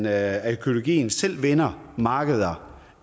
at økologien selv vinder markeder